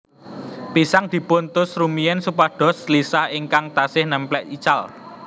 Pisang dipun tus rumiyin supados lisah ingkang taksih nèmplek ical